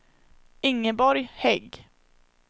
Ingeborg Hägg